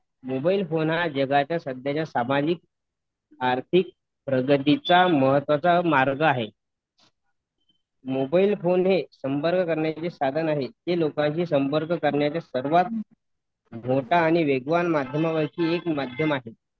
Mobile phone हा जगाच्या सध्याच्या सामाजिक आर्थिक प्रगतीचा महत्वाचा मार्ग आहे मोबाईल फोन हे संपर्क करण्याचे साधन आहे. ते लोकांशी संपर्क करण्याचे सर्वात मोठा आणि वेगवान माध्यमांपैकी एक माध्यम आहे.